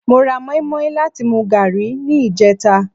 Mo ra mọ́ímọ́í láti fi mu gààrí ní ìjẹta